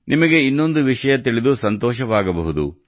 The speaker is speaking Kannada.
ನಿಮಗೆ ಇನ್ನೊಂದು ವಿಷಯ ಬಗ್ಗೆ ತಿಳಿದು ಸಂತೋಷವಾಗಬಹುದು